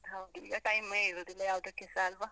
ಹೌದು, ಈಗ time ಮೆ ಇರುದಿಲ್ಲ ಯಾವುದಕ್ಕೆಸ ಅಲ್ವಾ?